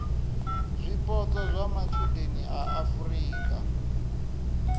zwipotso zwa matshudeni a afurika